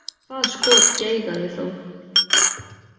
Það skot geigaði þó.